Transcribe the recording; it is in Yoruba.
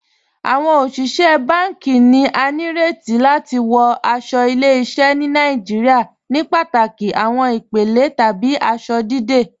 Awọn oṣiṣẹ̀ bánkì ni à ní rètì láti wọ̀ aṣọ̀ ìlẹ̀-ìṣẹ̀ ni Nàìjíríà ní pátákì awọn ìpèlè tàbí awọn aṣọ̀ dídẹ̀.